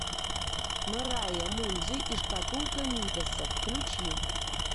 мэрайа мунди и шкатулка мидаса включи